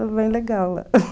É bem legal lá.